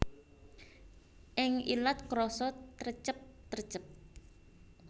Ing ilat krasa trecep trecep